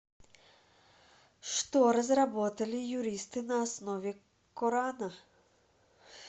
что разработали юристы на основе корана